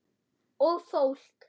Og fólk!